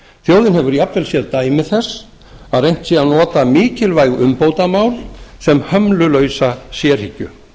þjóðin hefur jafnvel séð dæmi þess að reynt sé að nota mikilvæg umbótamál sem hömlulausa sérhyggju